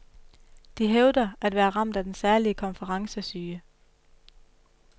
De hævder at være ramt af den særlige konferencesyge.